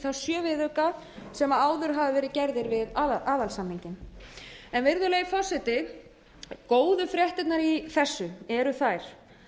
þá sjö viðauka sem áður höfðu verið gerðir við aðalsamninginn virðulegi forseti góðu fréttirnar í þessu eru þær